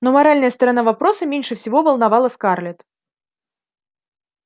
но моральная сторона вопроса меньше всего волновала скарлетт